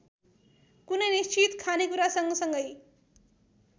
कुनै निश्चित खानेकुरासँगसँगै